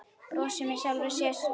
Brosir með sjálfri sér.